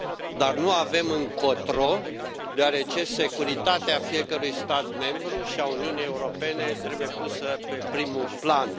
dar nu avem încotro, deoarece securitatea fiecărui stat membru și a Uniunii Europene trebuie pusă pe primul plan.